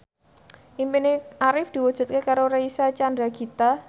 impine Arif diwujudke karo Reysa Chandragitta